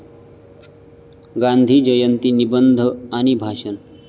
गांधी जयंती निबंध आणि भाषण